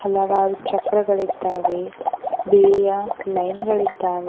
ಹಲವಾರು ಚಕ್ರಗಳಿದ್ದಾವೆ ಬಿಳಿಯ ಲೈನ್ ಗಳಿದ್ದಾವೆ.